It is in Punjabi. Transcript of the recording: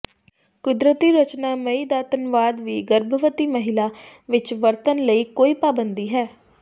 ਕੁਦਰਤੀ ਰਚਨਾ ਮਈ ਦਾ ਧੰਨਵਾਦ ਵੀ ਗਰਭਵਤੀ ਮਹਿਲਾ ਵਿੱਚ ਵਰਤਣ ਲਈ ਕੋਈ ਪਾਬੰਦੀ ਹੈ